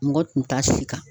Mɔgɔ tun t'a si kan